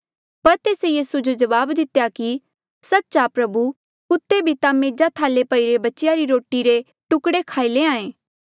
पर तेस्से तेस जो जवाब दितेया कि सच्च आ प्रभु कुत्ते भी ता मेजा थाले पईरे बच्चेया री रोटी रे टुकड़े खाई लैंहां ऐें